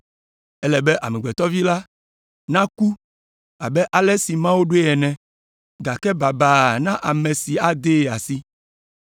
Ele be Amegbetɔ Vi la naku abe ale si Mawu ɖoe ene. Gake baba na ame si adee asi!”